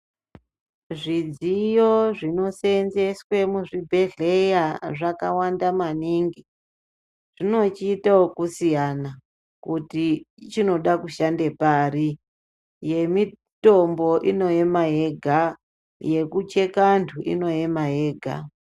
Zvidziyo zvinosenzeswe muzvibhedhleya zvakawanda maningi. Zvinochiita vekusiyana kuti ichi chinode kushanda pari. Yemitombo inoyema yega, yekucheka antu inoyema yega.